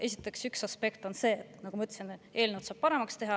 Esiteks, üks aspekt on see, nagu ma ütlesin, et eelnõu saab paremaks teha.